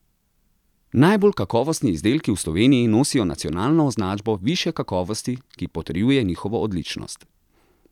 Najbolj kakovostni izdelki v Sloveniji nosijo nacionalno označbo višje kakovosti, ki potrjuje njihovo odličnost.